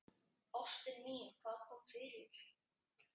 Ástin mín, hvað kom fyrir?